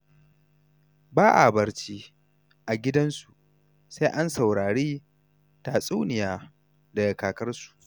Ba a barci a gidansu sai an saurari tatsuniya daga kakarsu.